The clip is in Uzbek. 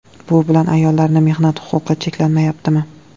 Bu bilan ayollarning mehnat huquqi cheklanmayaptimi?